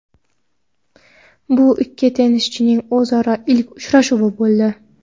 Bu ikki tennischining o‘zaro ilk uchrashuvi bo‘ldi.